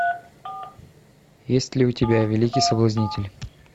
есть ли у тебя великий соблазнитель